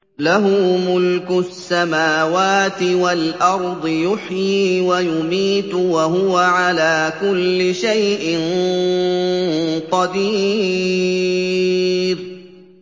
لَهُ مُلْكُ السَّمَاوَاتِ وَالْأَرْضِ ۖ يُحْيِي وَيُمِيتُ ۖ وَهُوَ عَلَىٰ كُلِّ شَيْءٍ قَدِيرٌ